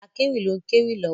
Akewi ló ń kéwì lọ́wọ́.